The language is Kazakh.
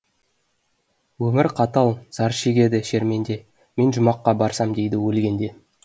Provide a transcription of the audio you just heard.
өмір қатал зар шегеді шерменде мен жұмаққа барсам дейді өлгенде